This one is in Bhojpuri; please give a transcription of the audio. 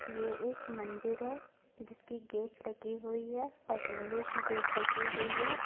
ये एक मंदिर है जिसकी गेट लगी हुई है और लोहे की गेट लगी हुई है।